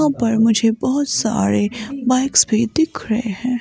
ऊपर मुझे बहुत सारे बाइक्स भी दिख रहे हैं।